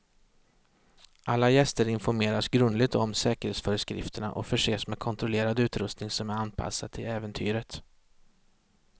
Alla gäster informeras grundligt om säkerhetsföreskrifterna och förses med kontrollerad utrustning som är anpassad till äventyret.